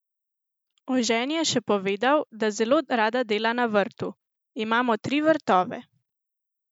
O ženi je še povedal, da zelo rada dela na vrtu: "Imamo tri vrtove.